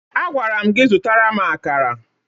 Agwara m gị zụtara m akara!